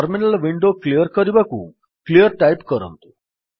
terminal window clear କରିବାକୁ clear type କରନ୍ତୁ